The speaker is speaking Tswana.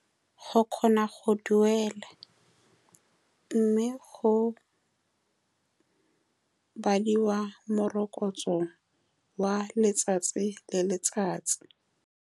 Go kgona go duela, mme go badiwa morokotso wa letsatsi le letsatsi.